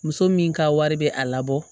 Muso min ka wari bɛ a labɔ